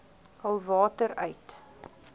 hul water uit